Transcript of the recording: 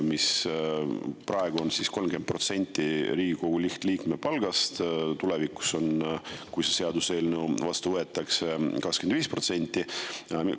Praegu on need 30% Riigikogu lihtliikme palgast ja kui see seadus vastu võetakse, siis tulevikus on 25%.